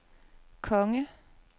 konge